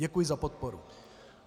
Děkuji za podporu.